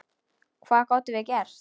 Hvað gátum við gert?